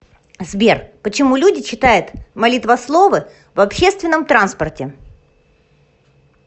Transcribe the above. сбер почему люди читают молитвословы в общественном транспорте